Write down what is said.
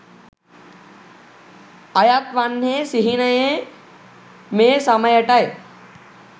අයත් වන්නේ සිහිනයේ මේ සමයටයි.